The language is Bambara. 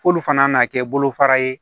F'olu fana na kɛ bolofara ye